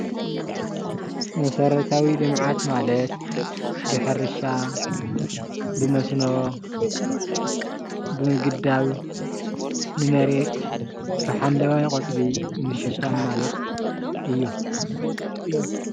መሰረታዊ ልምዓት ማለት ብሕርሻ፣ ብሞስኖ፣ ብምግዳብ፣ ብመሬት ብሓምለዋይ ቆፅሊ ምሽፋን ማለት እዩ።